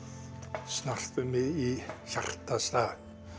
snertir mig í hjartastað